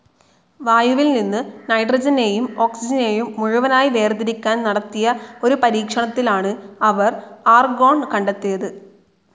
വായുവിൽ നിന്നും നൈട്രജനേയും ഓക്സിജനേയും മുഴുവനായി വേർതിരിക്കാൻ നടത്തിയ ഒരു പരീക്ഷണത്തിലാണ് അവർ ആർഗോൺ കണ്ടെത്തിയത്.